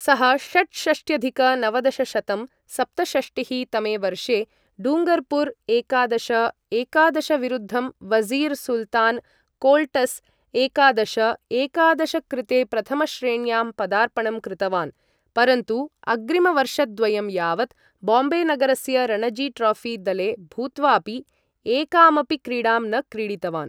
सः षट्षष्ट्यधिक नवदशशतं सप्तषष्टिः. तमे वर्षे डूङ्गरपुर् एकादश. एकादश विरुद्धं वज़ीर् सुल्तान् कोल्ट्स् एकादश. एकादश कृते प्रथमश्रेण्यां पदार्पणं कृतवान्, परन्तु अग्रिमवर्षद्वयं यावत् बाम्बे नगरस्य रणजी ट्रोफी दले भूत्वापि एकामपि क्रीडां न क्रीडितवान्।